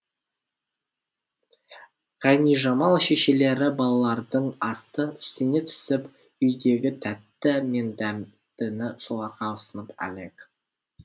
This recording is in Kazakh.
ғайнижамал шешелері балалардың асты үстіне түсіп үйдегі тәтті мен дәмдіні соларға ұсынып әлек